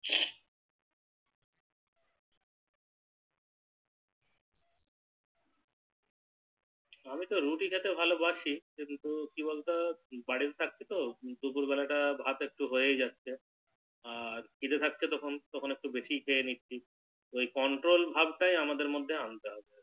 আমি তো রুটি খেতে ভালো বাসি কিন্তু কি বলতো বাড়িতে থাকছি তো দুপুর বেলাটা ভাত একটু হয়ে যাচ্ছে আর খিদে থাকছে তখন একটু বেশি খেয়ে নিচ্ছি ওই Control ভাব টাই আমাদের মধ্যে আনতে হবে